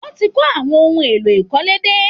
Wọ́n ti kó àwọn ohun èlò ìkọ́lé dé